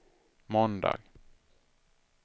måndag